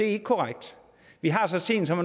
ikke korrekt vi har så sent som